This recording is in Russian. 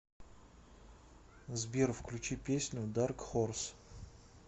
сбер включи песню дарк хорс